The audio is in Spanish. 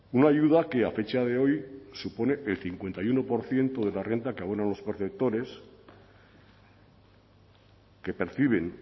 una ayuda que a fecha de hoy supone el cincuenta y uno por ciento de la renta que abonan los perceptores que perciben